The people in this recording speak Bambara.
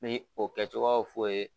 N mi o kɛcogoyaw f'o ye